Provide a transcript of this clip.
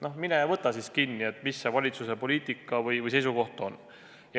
No mine võta kinni, mis see valitsuse poliitika või seisukoht siis on.